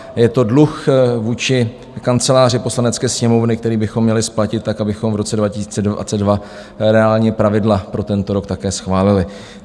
Je to dluh vůči Kanceláři Poslanecké sněmovny, který bychom měli splatit tak, abychom v roce 2022 reálně pravidla pro tento rok také schválili.